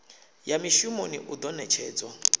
ya mishumoni u do netshedzwa